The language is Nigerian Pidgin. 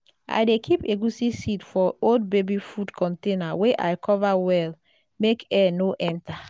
i dey keep egusi seed for old baby food container wey i cover well make air no enter.